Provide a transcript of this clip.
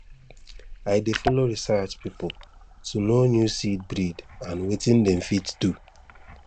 i dey follow research people to know new seed breed and wetin dem fit do